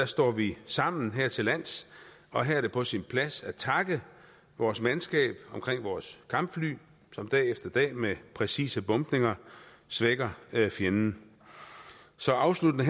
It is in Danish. står vi sammen her til lands og her er det på sin plads at takke vores mandskab ved vores kampfly som dag efter dag med præcise bombninger svækker fjenden så afsluttende